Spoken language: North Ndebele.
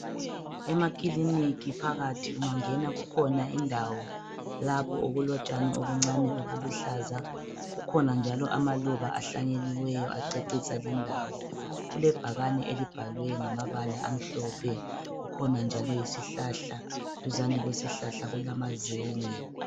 Emakiliniki phakathi ungangena kukhona indawo lapho okulotshani obuncane obuluhlaza, kukhona njalo amaluba ahlanyeliweyo acecisa lindawo. Kulebhakane elibhalwe ngamabala amhlophe, kukhona njalo isihlahla duzane kwesihlahla kulamazenge.